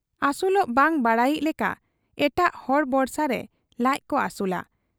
ᱟᱹᱥᱩᱞᱚᱜ ᱵᱟᱝ ᱵᱟᱰᱟᱭᱤᱡ ᱞᱮᱠᱟ ᱮᱴᱟᱜ ᱦᱚᱲ ᱵᱚᱨᱥᱟᱨᱮ ᱞᱟᱡᱠᱚ ᱟᱹᱥᱩᱞᱟ ᱾